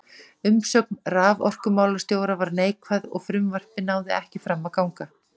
Umsögn raforkumálastjóra var neikvæð, og frumvarpið náði ekki fram að ganga.